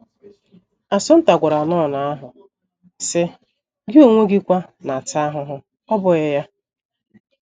Assunta gwara nọn ahụ, sị: “ Gị onwe gi kwa na - ata ahụhụ, ọ́ bụghị ya?